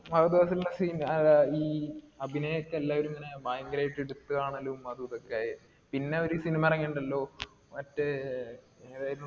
ഫഹദ് ഫാസിലിന്റെ scene ഈ അഭിനയൊക്കെ എല്ലാരും ഇങ്ങിനെ ഭയങ്കരമായിട്ട് ഇട്ത് കാണലും അതുതും ഒക്കെ ആയെ. പിന്നെ ഒരു cinema എറങ്ങീട്ടുണ്ടല്ലോ. മറ്റേ, എതായിരുന്നു?